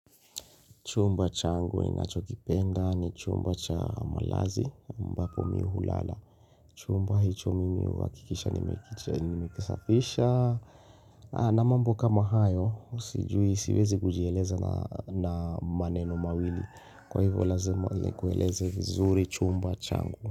Chumba changu ninachokipenda ni chumba cha malazi ambapo mimi hulala. Chumba hicho mimi huakikisha nimekisafisha. Na mambo kama hayo, sijui siwezi kujieleza na maneno mawili. Kwa hivyo lazima nikueleze vizuri chumba changu.